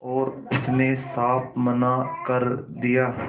और उसने साफ मना कर दिया